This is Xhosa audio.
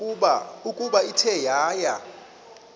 ukuba ithe yaya